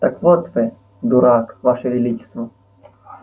так вот вы дурак ваше величество